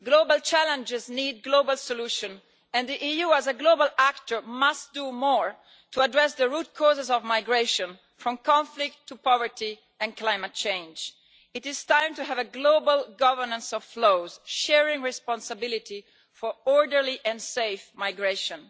Global challenges need global solutions and the EU as a global actor must do more to address the root causes of migration, from conflict to poverty and climate change. It is time to have a global governance of flows, sharing responsibility for orderly and safe migration.